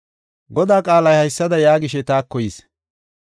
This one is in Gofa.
Godaa qaalay haysada yaagishe taako yis: